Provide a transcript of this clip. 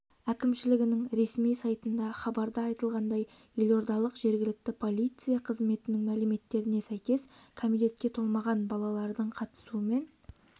әкімшілігінің ресми сайтында хабарда айтылғандай елордалық жергілікті полиция қызметінің мәліметтеріне сәйкес кәмелетке толмаған балалардың қатысуымен